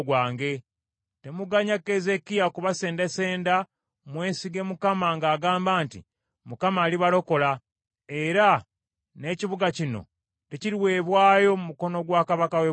Temuganya Keezeekiya kubasendasenda mwesige Mukama ng’agamba nti, Mukama alibalokola, era n’ekibuga kino tekiriweebwayo mu mukono gwa kabaka w’e Bwasuli.’